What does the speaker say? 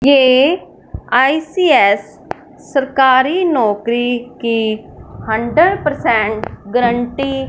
ये आई_सी_एस सरकारी नौकरी की हंड्रेड परसेंट गरंटी --